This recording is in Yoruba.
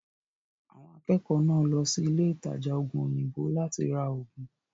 Àwọn akẹ́kọ̀ọ́ náà lọ sí ilé ìtajà ògùn òyìnbó láti ra ògùn.